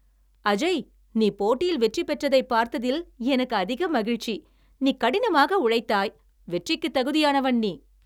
அஜய், நீ போட்டியில் வெற்றி பெற்றதைப் பார்த்ததில் எனக்கு அதிக மகிழ்ச்சி. நீ கடினமாக உழைத்தாய், வெற்றிக்குத் தகுதியானவன் நீ.